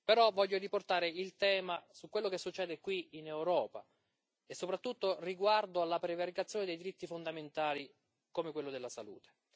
Tuttavia voglio riportare il tema su quello che succede qui in Europa e soprattutto riguardo alla prevaricazione dei diritti fondamentali, come quello della salute.